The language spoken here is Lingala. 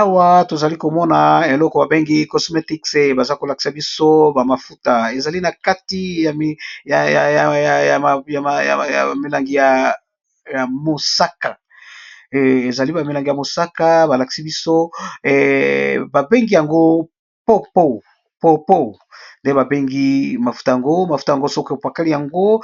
Awa tozali komona ba mafuta eza nakati ya milangi ya langi ya mosaka soki opakoli